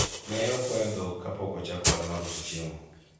ne okwayo dhok kapok ochako ohala mar uso chiemo